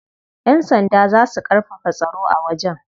Yan sanda za su karfafa tsaro a wajen.